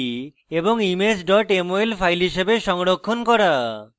এবং image mol file হিসাবে সংরক্ষণ করা